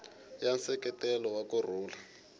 ya nseketelo wa ku rhula